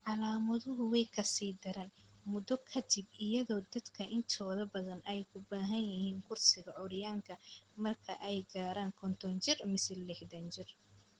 Calaamaduhu way ka sii daraan muddo ka dib, iyadoo dadka intooda badan ay u baahan yihiin kursiga curyaanka marka ay gaaraan konton jir mise lixdan jir.